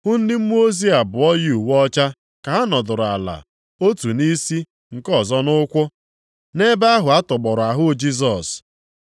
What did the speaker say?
hụ ndị mmụọ ozi abụọ yi uwe ọcha, ka ha nọdụrụ ala otu nʼisi, nke ọzọ nʼụkwụ, nʼebe ahụ atọgbọrọ ahụ Jisọs.